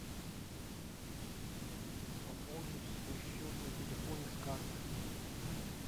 пополнить свой счет на телефоне с карты